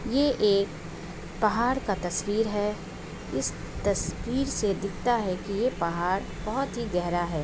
ये एक पहाड़ का तस्वीर है। इस तस्वीर से दिखता है कि यह पहाड़ बहोत ही गहरा है।